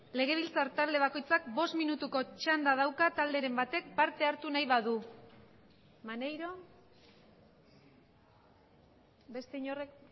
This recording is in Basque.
legebiltzar talde bakoitzak bost minutuko txanda dauka talderen batek parte hartu nahi badu maneiro beste inork